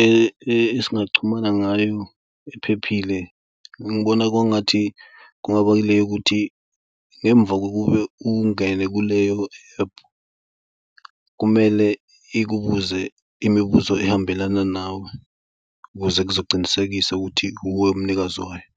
esingachumana ngayo ephephile. Ngibona kwangathi kungabalulekile ukuthi ngemuva kokube ungene kuleyo ephu kumele ikubuze imibuzo ehambelana nawe ukuze kuzoqinisekisa ukuthi uwe umnikazi wayo.